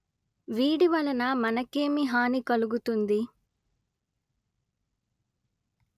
వీడి వలన మనకేమి హాని కలుగుతుంది